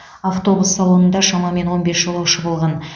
автобус салонында шамамен он бес жолаушы болған